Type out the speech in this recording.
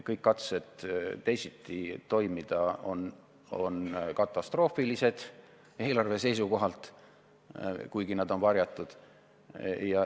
Kõik katsed teisiti toimida on eelarve seisukohalt katastroofilised, kuigi nad on varjatud.